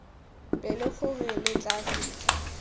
pelo gore re tla fitlha